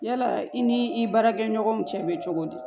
Yala i ni i baarakɛɲɔgɔnw cɛ bɛ cogo di